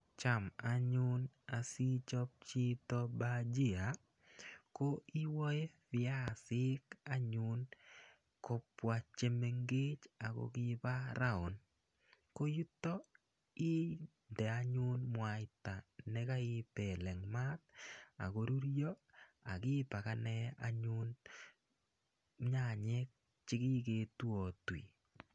Cham anyun asiichop chito bhajia ko iwae piasik anyun kopwa che mengech ako kipa round. Ko yutok inde anyun mwaita na kaipel eng' maat ak korurya ak ipakane anyun nyanyek che kiketuiatui.